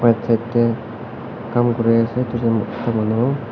side tey kaam kuri ase duijun mota manu.